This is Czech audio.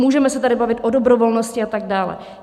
Můžeme se tady bavit o dobrovolnosti a tak dále.